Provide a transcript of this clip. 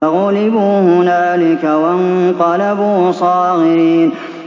فَغُلِبُوا هُنَالِكَ وَانقَلَبُوا صَاغِرِينَ